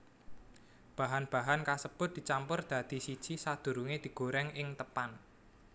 Bahan bahan kasebut dicampur dadi siji sadurunge digoreng ing teppan